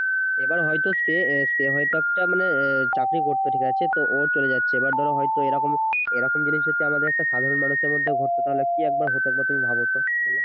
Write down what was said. এবার হয়তো সে সে হয়তো একটা মানে চাকরি করতো ঠিক আছে তো ওর চলে যাচ্ছে এবার ধরো হয়তো এরকম জিনিস যদি আমাদের একটা সাধারণ মানুষের মধ্যে ঘটতো তাহলে কি একবার হতো ভাবো তো